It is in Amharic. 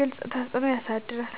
ግልጽ ተፅዕኖ ያሳድራል።